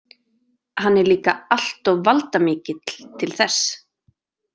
Hann er líka alltof valdamikill til þess.